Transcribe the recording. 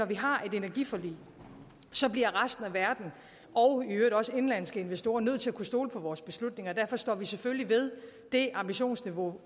vi har et energiforlig bliver resten af verden og i øvrigt også indenlandske investorer nødt til at kunne stole på vores beslutninger derfor står vi selvfølgelig ved det ambitionsniveau